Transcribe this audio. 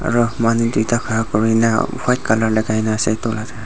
aro manu tuita khara kori kina white colour lagai kina ase.